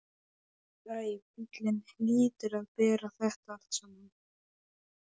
Æ, bíllinn hlýtur að bera þetta allt saman.